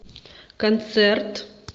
концерт